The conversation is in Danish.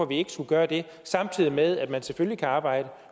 vi ikke skulle gøre det samtidig med at man selvfølgelig kan arbejde